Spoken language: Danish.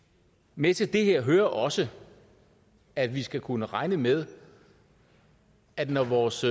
med til det her hører også at vi skal kunne regne med at når vores